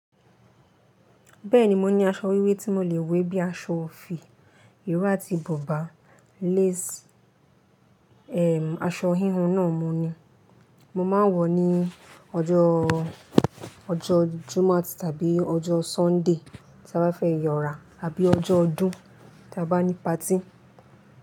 Bẹ́ẹ̀ni mo ní aṣọ wíwé tí mo lè wé bí i aṣọ òfì, ìró àti bubá, lace, aṣọ híhun náà mo ní. Mo máa ń wọ̀ ọ́ ní ọjọ́ Júmát tàbí ọjọ́ Sọ́ndè tí a bá fẹ́ yọ̀rà tàbí ọjọ́ ọdún tí a bá ní patí.